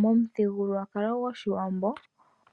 Momuthigululwakalo gwoshiwambo